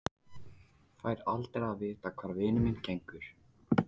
Fæ aldrei að vita hvar vinur minn gengur.